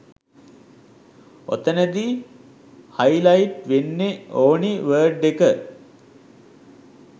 ඔතනදි highlight වෙන්න ඕනි word එක